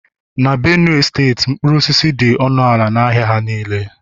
na Benue steeti mkpụrụ osisi dị ọnụ ala n'ahịa ha niile